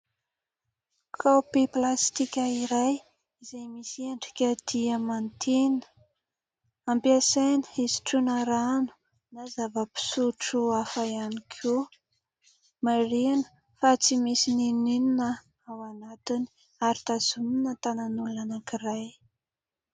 Kaopy plastika iray izay misy endrika diamantina, ampiasaina hisotroana rano na zava-pisotro hafa ihany koa, marihana fa tsy misy n'inon'inona ao anatiny ary tazonina tànan'olona anankiray.